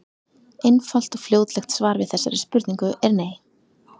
Einfalt og fljótlegt svar við þessari spurningu er nei.